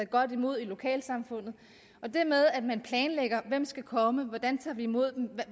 godt imod i lokalsamfundet og det med at man planlægger hvem der skal komme hvordan man tager imod dem og